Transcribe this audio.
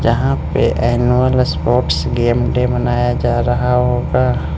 यहां पे annual sports game day मनाया जा रहा होगा।